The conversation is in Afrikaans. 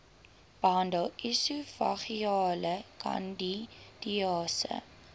behandel esofageale kandidiase